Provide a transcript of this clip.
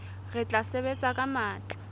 re tla sebetsa ka matla